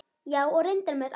Já, og reyndar með allt.